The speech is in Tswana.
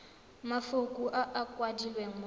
mafoko a a kwadilweng mo